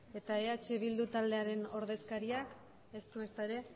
eta eh bildu taldearen ordezkariak ez du ezta ere